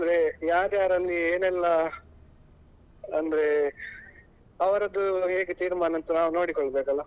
ಅಂದ್ರೆ ಯಾರ್ ಯಾರಲ್ಲಿ ಏನೆಲ್ಲ ಅಂದ್ರೆ ಅವರದ್ದು ಹೇಗೆ ತೀರ್ಮಾನ ಅಂತ ನಾವ್ ನೋಡಿಕೊಳ್ಬೇಕಲ್ಲ.